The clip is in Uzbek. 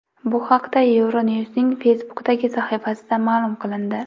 Bu haqda Euronews’ning Facebook’dagi sahifasida ma’lum qilindi .